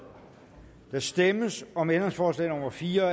der stemmes om ændringsforslag nummer fire